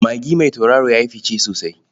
Magi mai tauraro ya yi fice sosai.